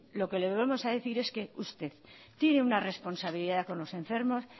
lo que le volvemos a decir es que usted tiene una responsabilidad con los enfermos